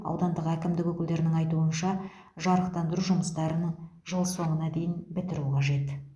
аудандық әкімдік өкілдерінің айтуынша жарықтандыру жұмыстарын жыл соңына дейін бітіруі қажет